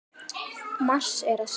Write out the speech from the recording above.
Margs er að sakna.